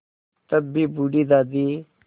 तब भी बूढ़ी दादी